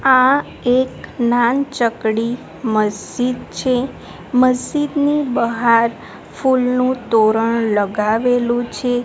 આ એક નાન ચકડી મસ્જિદ છે. મસ્જિદની બહાર ફૂલ નું તોરણ લગાવેલું છે.